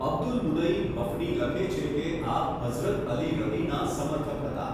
Abdul Munim Hafni લખે છે કે આપ હઝરત અલી રદિ.ના સમર્થક હતા.